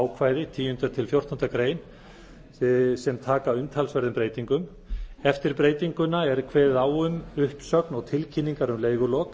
ákvæði tíundu til fjórtándu greinar taka umtalsverðum breytingum eftir breytinguna er kveðið á um uppsögn og tilkynningar um leigulok